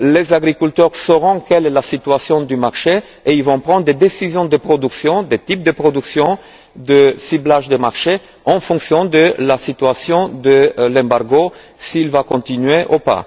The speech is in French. les agriculteurs sauront quelle est la situation du marché et ils prendront des décisions en matière de production, de type de production, de ciblage des marchés en fonction de la situation de l'embargo selon qu'il continue